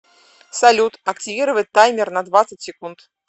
салют активировать таймер на двадцать секунд